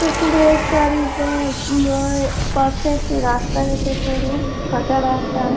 পুকুরের চারদিক ময় পশে একটি রাস্তা গাছে সরু কাঁচা রাস্তা।